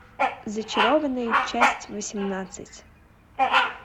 зачарованные часть восемнадцать